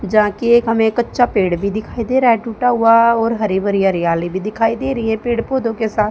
जहां की एक हमें कच्चा पेड़ भी दिखाई दे रहा है टूटा हुआ और हरी भरी हरियाली भी दिखाई दे रही है पेड़ पौधों के साथ।